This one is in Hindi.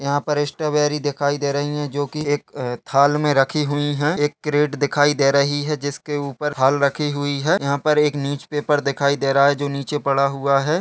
यहाँ पर स्ट्रॉबेरी दिखाई दे रही हैं जो कि एक थाल में रखी हुई है एक क्रेट दिखाई दे रही हैं जिसके ऊपर थाल रखी हुई है यहाँ पर एक न्यूज पेपर दिखाई दे रहा हैं जो नीचे पड़ा हुआ हैं।